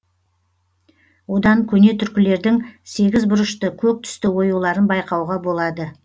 одан көне түркілердің сегіз бұрышты көк түсті оюларын байқауға болады